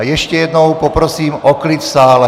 A ještě jednou poprosím o klid v sále.